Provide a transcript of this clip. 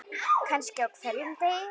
Kannski á hverjum degi.